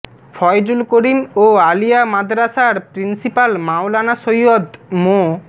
ফয়জুল করীম ও আলিয়া মাদরাসার প্রিন্সিপাল মাওলানা সৈয়দ মো